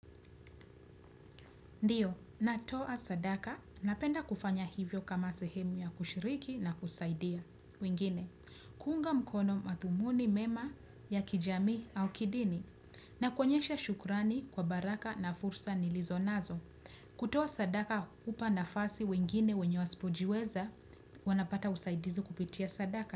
Ndiyo, ninatoa sadaka, napenda kufanya hivyo kama sehemu ya kushiriki na kusaidia. Wengine, kuunga mkono madhumuni mema ya kijamii au kidini. Na kuonyesha shukurani kwa baraka na fursa nilizonazo. Kutoa sadaka, hupa nafasi wengine wenye wasipojiweza, wanapata usaidizi kupitia sadaka.